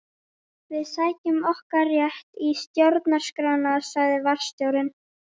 Við sækjum okkar rétt í stjórnarskrána sagði varðstjórinn.